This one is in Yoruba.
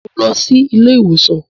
Mo ń lọ sí ilé iwosan